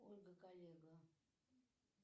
ольга коллега